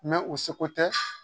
u seko tɛ